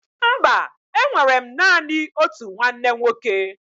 Mba, enwere m naanị otu nwanne nwoke